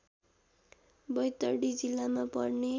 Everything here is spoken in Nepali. बैतडी जिल्लामा पर्ने